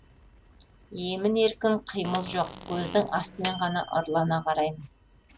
емін еркін қимыл жоқ көздің астымен ғана ұрлана қараймын